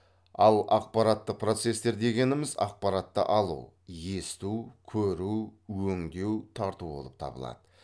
ал ақпараттық процестер дегеніміз ақпаратты алу есту көру өңдеу тарту болып табылады